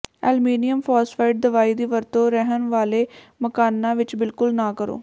aluminium phosphide ਦਵਾਈ ਦੀ ਵਰਤੋਂ ਰਹਿਣ ਵਾਲੇ ਮਕਾਨਾਂ ਵਿੱਚ ਬਿਲਕੁਲ ਨਾ ਕਰੋ